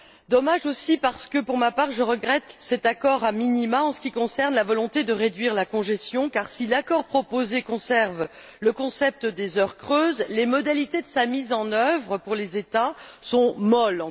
Dommage aussi parce que, pour ma part, je regrette cet accord a minima en ce qui concerne la volonté de réduire la congestion, car si l'accord proposé conserve le concept des heures creuses, les modalités de sa mise en œuvre pour les États sont molles.